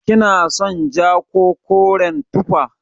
Kina son ja ko koren tufa?